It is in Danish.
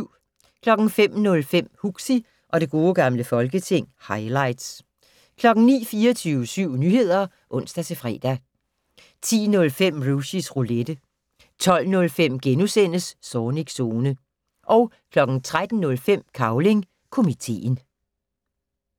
05:05: Huxi og det gode gamle folketing - highlights 09:00: 24syv Nyheder (ons-fre) 10:05: Rushys Roulette 12:05: Zornigs Zone * 13:05: Cavling Komiteen